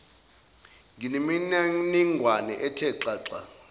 ngemininingwane ethe xaxa